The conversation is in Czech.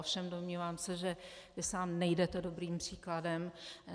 Ovšem domnívám se, že vy sám nejdete dobrým příkladem.